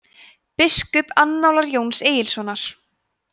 „biskupaannálar jóns egilssonar